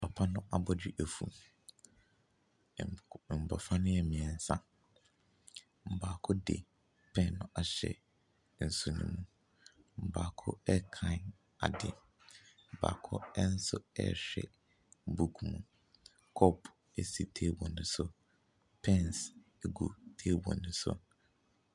Papa no abɔdwe efu, nkw mmɔfra no yɛ mmiɛnsa, baako de pɛn no ahyɛ ne nsa ne mu, baako ɛrekan ade baako nso ɛrehwɛ buku mu. Kɔɔpo si table ne so, pens gu table ne so.